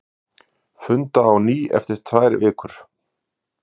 Funda á ný eftir tvær vikur